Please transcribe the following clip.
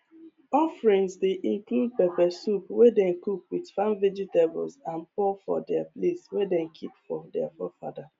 offerings dey include pepper soup wey dem cook with farm vegetables and pour for di place way dem keep for di forefathers